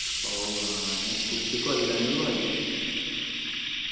ഔ ആന കുത്തി കൊല്ലാഞ്ഞത് ഭാഗ്യം